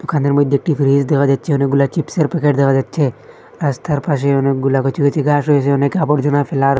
দোকানের মইধ্যে একটি ফ্রিজ দেখা যাচ্ছে অনেকগুলা চিপসে র প্যাকেট দেখা যাচ্ছে রাস্তার পাশে অনেকগুলা কচি কচি ঘাস হয়েছে অনেক আবর্জনা ফেলার --